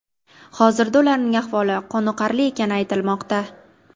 Hozirda ularning ahvoli qoniqarli ekani aytilmoqda.